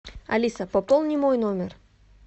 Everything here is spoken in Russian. алиса пополни мой номер